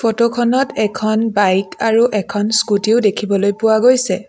Photo খনত এখন bike আৰু এখন স্কুটী ও দেখিবলৈ পোৱা গৈছে।